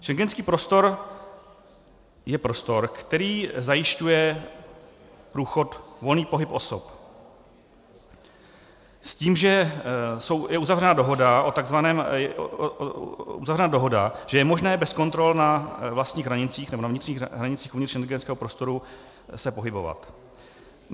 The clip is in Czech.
Schengenský prostor je prostor, který zajišťuje průchod, volný pohyb osob s tím, že je uzavřena dohoda, že je možné bez kontrol na vlastních hranicích nebo na vnitřních hranicích uvnitř schengenského prostoru se pohybovat.